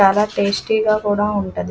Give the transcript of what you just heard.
చాలా టేస్టి గా కూడా ఉంటది.